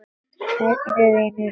Hvernig vinnu?